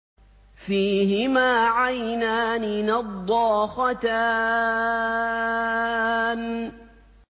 فِيهِمَا عَيْنَانِ نَضَّاخَتَانِ